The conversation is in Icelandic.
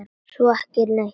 Svo ekki neitt.